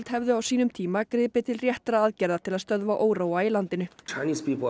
hefðu á sínum tíma griptið til réttra aðgerða til að stöðva óróa í landinu